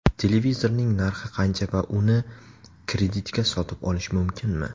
Televizorning narxi qancha va uni kreditga sotib olish mumkinmi?